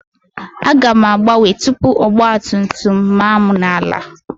Aga m agbanwe tuubu ọgba tum tum ma m na-ala